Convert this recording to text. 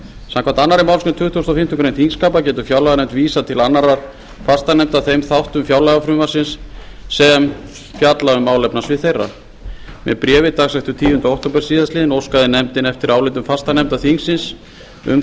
samkvæmt annarri málsgrein tuttugustu og fimmtu greinar þingskapa getur fjárlaganefnd vísað til annarra fastanefnda þeim þáttum fjárlagafrumvarpsins sem fjalla um málefnasvið þeirra með bréfi dagsettu tíunda október síðastliðnum óskaði nefndin eftir álitum fastanefnda þingsins um